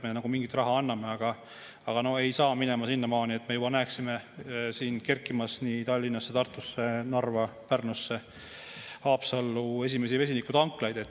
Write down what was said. Me nagu mingit raha anname, aga no ei saa minema, et me juba näeksime kerkimas Tallinnasse, Tartusse, Narva, Pärnusse või Haapsallu esimesi vesinikutanklaid.